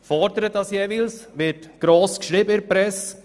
Es wird dann in der Presse gross darüber berichtet.